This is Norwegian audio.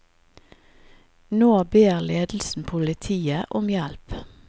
Nå ber ledelsen politiet om hjelp.